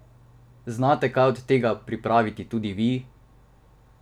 Znate kaj od tega pripraviti tudi vi?